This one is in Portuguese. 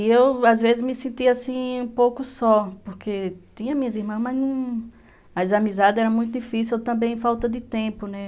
E eu, às vezes, me sentia assim um pouco só, porque tinha minhas irmãs, mas as amizades eram muito difíceis ou também falta de tempo, né?